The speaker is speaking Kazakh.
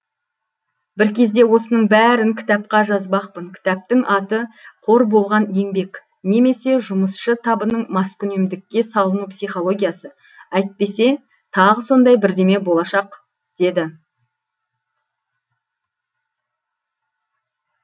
бір кезде осының бәрін кітапқа жазбақпын кітаптың аты қор болған еңбек немесе жұмысшы табының маскүнемдікке салыну психологиясы әйтпесе тағы сондай бірдеме болашақ деді